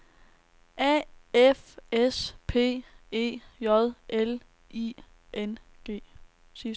A F S P E J L I N G